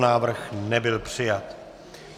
Návrh nebyl přijat.